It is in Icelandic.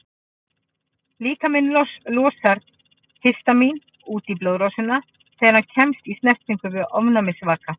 Líkaminn losar histamín út í blóðrásina þegar hann kemst í snertingu við ofnæmisvaka.